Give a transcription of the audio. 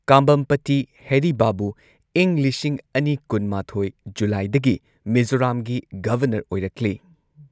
ꯀꯥꯝꯕꯝꯄꯇꯤ ꯍꯦꯔꯤ ꯕꯥꯕꯨ ꯏꯪ ꯂꯤꯁꯤꯡ ꯑꯅꯤ ꯀꯨꯟ ꯃꯥꯊꯣꯏ ꯖꯨꯂꯥꯏꯗꯒꯤ ꯃꯤꯖꯣꯔꯥꯝꯒꯤ ꯒꯚꯔꯅꯔ ꯑꯣꯏꯔꯛꯂꯤ꯫